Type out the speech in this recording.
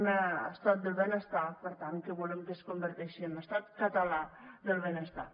un estat del benestar per tant que volem que es converteixi en l’estat català del benestar